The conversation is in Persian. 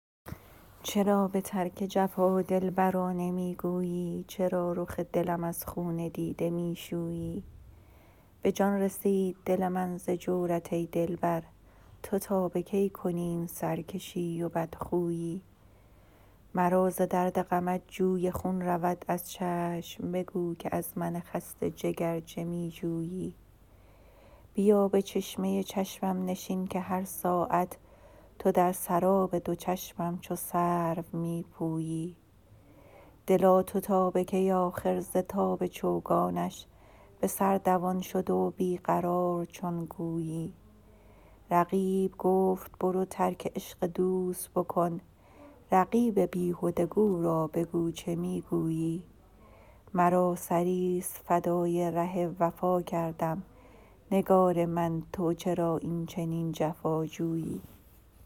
چرا به ترک جفا دلبرا نمی گویی چرا رخ دلم از خون دیده می شویی به جان رسید دل من ز جورت ای دلبر تو تا به کی کنی این سرکشی و بدخویی مرا ز درد غمت جوی خون رود از چشم بگو که از من خسته جگر چه می جویی بیا به چشمه چشمم نشین که هر ساعت تو در سراب دو چشمم چو سرو می پویی دلا تو تا به کی آخر ز تاب چوگانش به سر دوان شده و بی قرار چون گویی رقیب گفت برو ترک عشق دوست بکن رقیب بیهده گو را بگو چه می گویی مرا سریست فدای ره وفا کردم نگار من تو چرا اینچنین جفاجویی